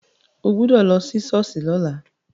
O gbọ́dọ̀ lọ sí ṣọ́ọ̀ṣì lọ́la.